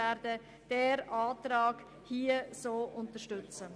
Diesen Antrag werden wir unterstützen.